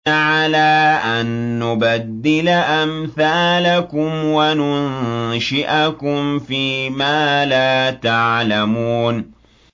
عَلَىٰ أَن نُّبَدِّلَ أَمْثَالَكُمْ وَنُنشِئَكُمْ فِي مَا لَا تَعْلَمُونَ